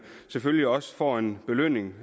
selvfølgelig også får en belønning